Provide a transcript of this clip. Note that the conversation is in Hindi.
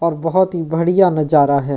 और बहोत ही बढ़िया नजारा है।